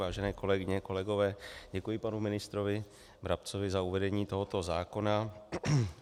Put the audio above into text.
Vážené kolegyně, kolegové, děkuji panu ministrovi Brabcovi za uvedení tohoto zákona.